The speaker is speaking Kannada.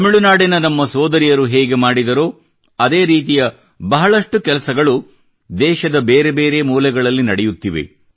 ತಮಿಳುನಾಡಿನ ನಮ್ಮ ಸೋದರಿಯರು ಹೇಗೆ ಮಾಡಿದರೋ ಅದೇ ರೀತಿಯ ಬಹಳಷ್ಟು ಕೆಲಸಗಳು ದೇಶದ ಬೇರೆ ಬೇರೆ ಮೂಲೆಗಳಲ್ಲಿ ನಡೆಯುತ್ತಿವೆ